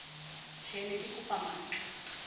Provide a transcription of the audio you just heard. tjhee ke ne kekopa matlaa